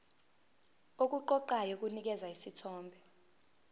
okuqoqayo kunikeza isithombe